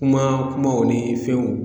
Kuma kumaw ni fɛnw